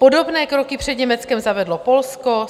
Podobné kroky před Německem zavedlo Polsko.